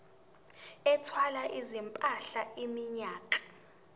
ethwala izimpahla iminyaka